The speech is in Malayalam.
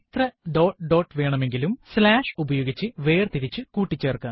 വിവരണം ഡോട്ട് dot വേണമെകിലും വിവരണം slash ഉപയോഗിച്ചു വേർതിരിച്ചു കൂട്ടിച്ചേർക്കാം